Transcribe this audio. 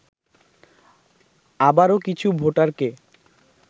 আবারও কিছু ভোটারকে